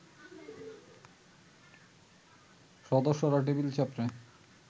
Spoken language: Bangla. সদস্যরা টেবিল চাপড়ে